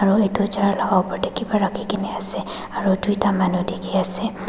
Aro etu chair laka upor te kepah rakhe kena ase aro tuita manu dekhe ase.